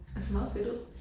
Ej det ser meget fedt ud